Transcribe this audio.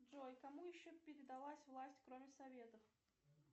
джой кому еще передалась власть кроме советов